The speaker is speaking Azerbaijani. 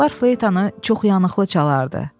Qabaqlar fleytanı çox yanıqlı çalardı.